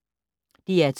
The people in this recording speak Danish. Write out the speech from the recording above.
DR2